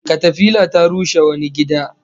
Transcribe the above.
Katafila ta rushe wani gida